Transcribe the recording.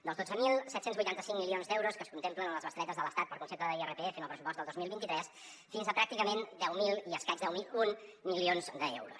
dels dotze mil set cents i vuitanta cinc milions d’euros que es contemplen a les bestretes de l’estat per concepte d’irpf en el pressupost del dos mil vint tres fins a pràcticament deu mil i escaig deu mil un milions d’euros